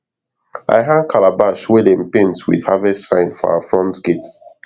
i hang calabash wey dem paint with harvest sign for our front gate